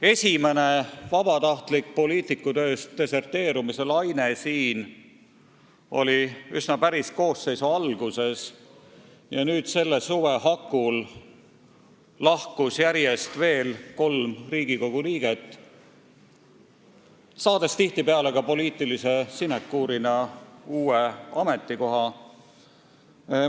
Esimene vabatahtlik poliitikutööst deserteerumise laine oli siin päris koosseisu alguses ja nüüd, selle suve hakul lahkus järjest veel kolm Riigikogu liiget, saades tihtipeale poliitilise sinekuurina ka uue ametikoha.